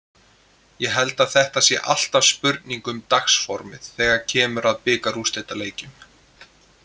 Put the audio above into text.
Ég held að þetta sé alltaf spurning um dagsformið þegar kemur að bikarúrslitaleikjum.